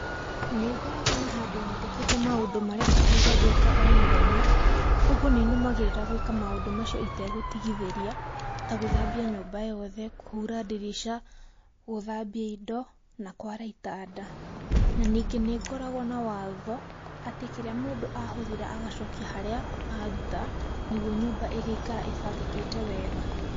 Nĩ ngoragwo na handũ nyandĩkĩte maũndũ marĩa bataire gwĩka o mũthenya, ũguo nĩ nũmagĩrĩra maũndũ macio itegũtigithĩria, ta gũthambia nyũmba yothe, kũhura ndirica, gũthambia indo na kwara itanda. Na ningĩ nĩ ngoragwo na watho atĩ kĩrĩa mũndũ ahũthĩra agacokia harĩa aruta, nĩguo nyũmba ĩgĩikara ĩbangĩkĩte wega.